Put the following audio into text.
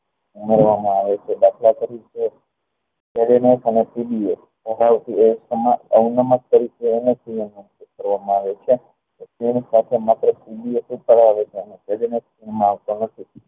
કરવા માં આવે છે દાખલા તરીકે અને કીડીયો